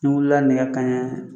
N' wulila nɛgɛ ka ɲɛ.